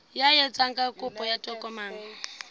ya etsang kopo ya tokomane